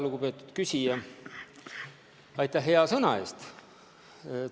Lugupeetud küsija, aitäh hea sõna eest!